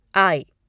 आई